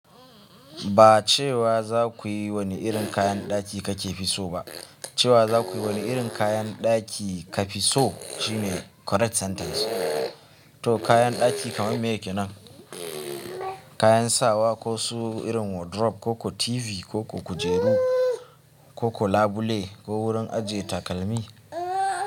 Ba cewa za ku yi wani irin kayan ɗaki kakefi so ba, cewa za ku yi wani irin kayan ɗaki ka fi so shine correct sentence. To kayan ɗaki kamar meye kenan? Kayan sawa ko su irin wardrobe ko ko TV koko kujeru koko labule ko wurin ajiye takalmi?